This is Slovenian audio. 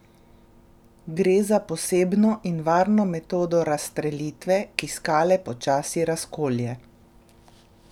Gre za posebno in varno metodo razstrelitve, ki skale počasi razkolje.